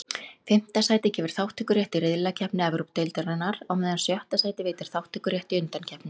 Fimmta sætið gefur þátttökurétt í riðlakeppni Evrópudeildarinnar, á meðan sjötta sætið veitir þátttökurétt í undankeppninni.